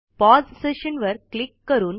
pause session वर click करून